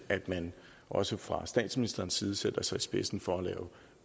at man også fra statsministerens side sætter sig i spidsen for at lave